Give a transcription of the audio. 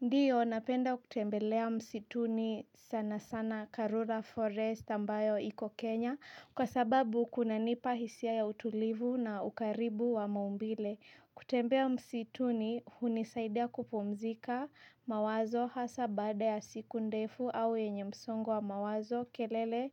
Ndiyo napenda kutembelea msituni sana sana karura forest ambayo iko Kenya. Kwa sababu kunanipa hisia ya utulivu na ukaribu wa maumbile kutembea msituni hunisaidia kupumzika mawazo hasa baada ya siku ndefu au yenye msongo wa mawazo kelele